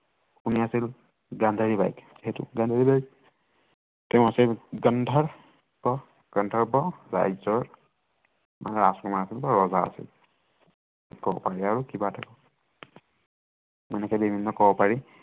তেওঁ আছিল গন্ধৰ্ব, গান্ধৰ্ব ৰাজ্য়ৰ ৰাজকুমাৰ আছিল বা ৰজা আছিল তেনেকে কব পাৰি আৰু কিবা আছিল নিচিনা কব পাৰি।